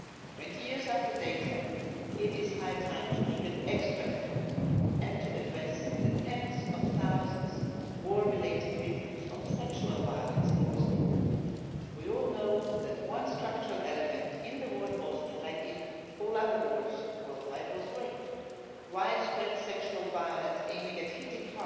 20 years after Dayton it is high time to make an extra effort and to address the tens of thousands of war related victims of sexual violence in Bosnia. We all know that one structural element in the war in Bosnia, as in all other wars worldwide, was rape widespread sexual violence aimed at hitting